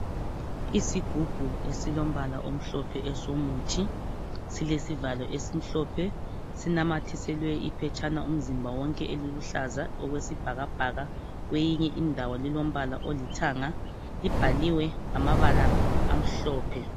Isigubhu esilombala omhlophe esomuthi silesivalo esimhlophe sinamathiselwe iphetshana umzimba wonke eliluhlaza okwesibhakabhaka. Kweyinye indawo lilombala olithanga. Libhaliwe ngamabala amhlophe.